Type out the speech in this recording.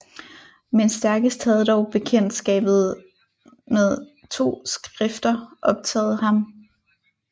Men stærkest havde dog Bekjendtskabet rned 2 Skrifter optaget ham